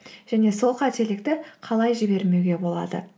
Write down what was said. және сол қателікті қалай жібермеуге болады